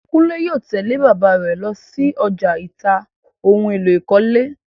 Kúnlè yóò tẹ̀lẹ́ bàbáà rẹ̀ lọsí ọjà ìta ohun èlò ìkọ́lé.